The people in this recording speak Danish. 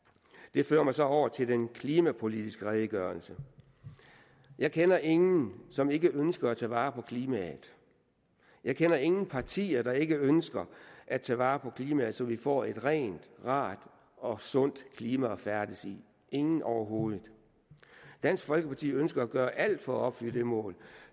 det fører mig så over til den klimapolitiske redegørelse jeg kender ingen som ikke ønsker at tage vare på klimaet jeg kender ingen partier der ikke ønsker at tage vare på klimaet så vi får et rent rart og sundt klima at færdes i ingen overhovedet dansk folkeparti ønsker at gøre alt for at opfylde det mål